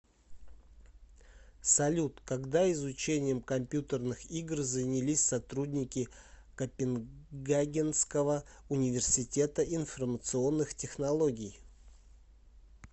салют когда изучением компьютерных игр занялись сотрудники копенгагенского университета информационных технологий